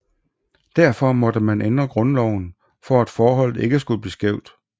Derfor måtte man ændre grundloven for at forholdet ikke skulle blive skævt